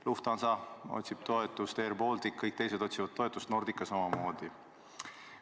Lufthansa otsib toetust, airBaltic ja kõik teised otsivad toetust, Nordica samamoodi.